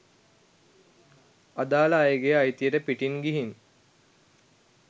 අදාල අයගේ අයිතියට පිටින් ගිහින්